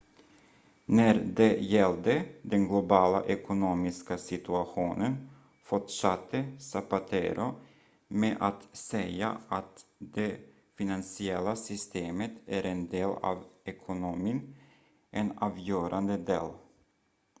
"när det gällde den globala ekonomiska situationen fortsatte zapatero med att säga att "det finansiella systemet är en del av ekonomin en avgörande del.